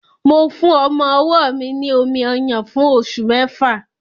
Mo fún ọmọ-ọwọ́ mi ní omi-ọyàn fún oṣù mẹ́fà